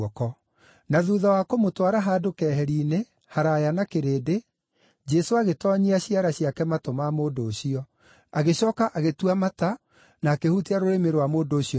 Na thuutha wa kũmũtwara handũ keheri-inĩ, haraaya na kĩrĩndĩ, Jesũ agĩtoonyia ciara ciake matũ ma mũndũ ũcio. Agĩcooka agĩtua mata na akĩhutia rũrĩmĩ rwa mũndũ ũcio namo.